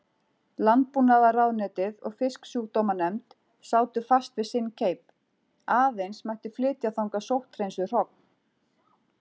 Landbúnaðarráðuneytið og Fisksjúkdómanefnd sátu fast við sinn keip: Aðeins mætti flytja þangað sótthreinsuð hrogn.